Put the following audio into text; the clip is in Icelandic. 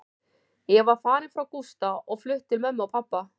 Ég var farin frá Gústa og flutt til mömmu og pabba.